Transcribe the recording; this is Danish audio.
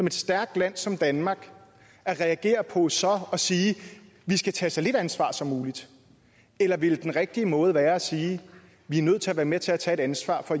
et stærkt land som danmark at reagere på så at sige vi skal tage så lidt ansvar som muligt eller vil den rigtige måde være at sige vi er nødt til at være med til at tage et ansvar for